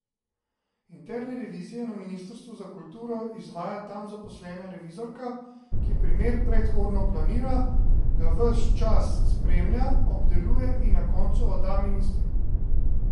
Interne revizije na Ministrstvu za kulturo izvaja tam zaposlena revizorka, ki primer predhodno planira, ga več časa spremlja, obdeluje in na koncu odda ministru.